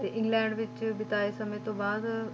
ਤੇ ਇੰਗਲੈਂਡ ਵਿੱਚ ਬਿਤਾਏ ਸਮੇਂ ਤੋਂ ਬਾਅਦ,